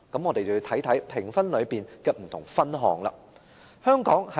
我們要看看評分中的不同分項。